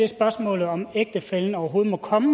spørgsmålet om om ægtefællen overhovedet må komme